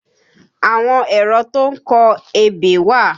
Àwọn èrọ tó ń kọ ebè wà